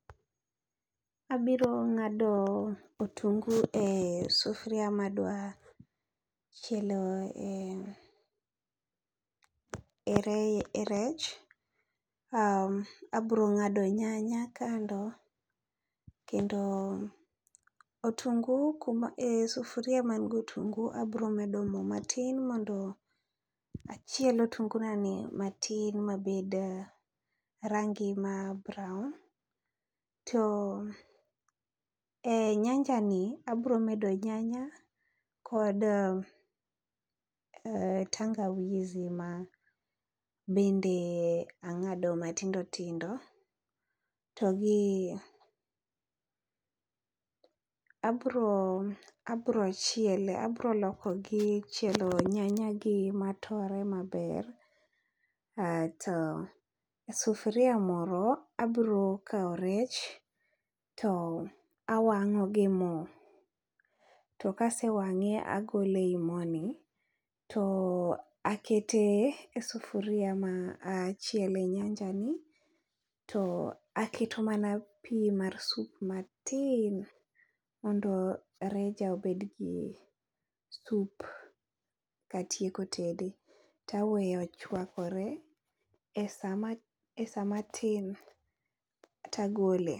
Abiro ng'ado otungu e sufria madwa chielo e e reye e rech, abro ng'ado nyanya kando. Kendo otungu kuma e sufria man go otungu abro medo mo matin mondo achiel otungu nani matin mabed rangi ma brown. To e nyanja ni abro medo nyanya kod tangawizi ma bende ang'ado matindo tindo, to gi abro abro chiele, abro lokogi chielo nyanya gi matore maber. Ato sufria moro abro kawo rech to awang'o gi mo, to kasewang'e agole ei mo ni. To akete e sufuria ma achiele nyanja ni, to akete mana pi mar sup matin mondo reja obed gi sup. Katieko tede taweye ochwakore e sama tin tagole.